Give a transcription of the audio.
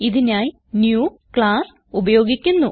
ഇതിനായി new class ഉപയോഗിക്കുന്നു